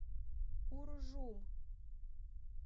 уржум